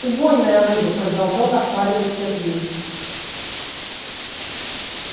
убойная рыба продолжал нахваливать сергей